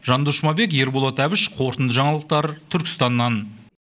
жандос жұмабек ерболат әбіш қорытынды жаңалықтар түркістаннан